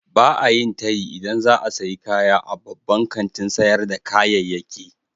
Ba a yin tayi idan za a sayi kaya a babban kantin sayar da kayayyaki.